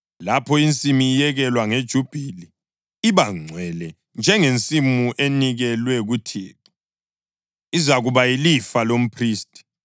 Lapho insimu iyekelwa ngeJubhili, iba ngcwele njengensimu enikelwe kuThixo, izakuba yilifa lomphristi.